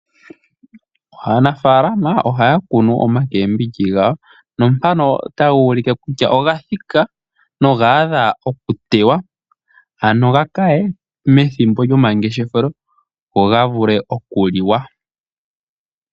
Aanafalama ohaya kunu oomboga dhawo na mpano otadhi ulike kutya odha thika noga adha okuteywa. Ano dhi kaye methimbo lyomangeshefelo dho dhi vule okuliwa.